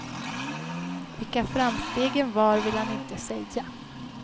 Vilka framstegen var ville han inte säga.